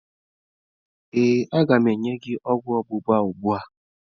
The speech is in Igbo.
Ee, a ga m enye gị ogwu ọgba gba ugbu a.